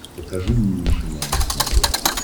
покажи мне нейшенел на смотрешке